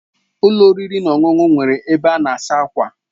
Ụlọ oriri na ọṅụṅụ nwere ebe ịsa ákwà.